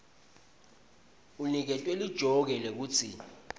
uniketwe lijoke lekutsi